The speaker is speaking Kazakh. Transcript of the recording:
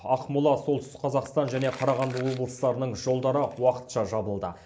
ақмола солтүстік қазақстан және қарағанды облыстарының жолдары уақытша жабылды